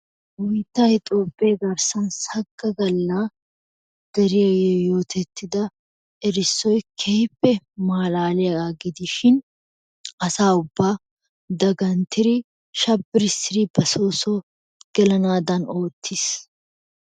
Nu biittaa Itoophphe garssan sagga galla deriyaayo yoottetidda erissoy maalaliyagga gidishin asaa ubbaa daganttidi shabrssidi ba soo so gelanaadan oottis.